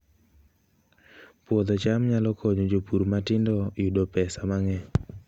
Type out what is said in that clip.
Puodho cham nyalo konyo jopur matindo yudo pesa mang'eny